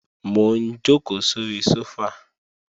Mò ń jòkó sóri sófà